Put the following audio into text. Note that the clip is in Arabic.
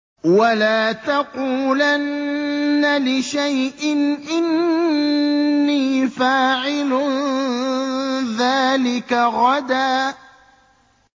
وَلَا تَقُولَنَّ لِشَيْءٍ إِنِّي فَاعِلٌ ذَٰلِكَ غَدًا